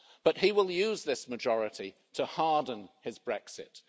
But he will use this majority to harden his Brexit.